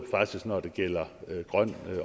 når det gælder grøn